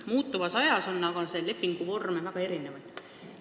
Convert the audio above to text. Muutuvas ajas on aga lepinguvorme väga erinevaid.